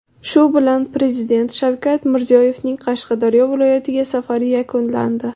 Shu bilan Prezident Shavkat Mirziyoyevning Qashqadaryo viloyatiga safari yakunlandi.